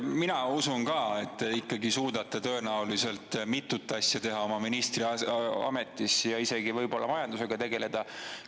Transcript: Mina usun ka, et te ikkagi suudate tõenäoliselt mitut asja teha oma ministriametis, võib-olla isegi majandusega tegeleda.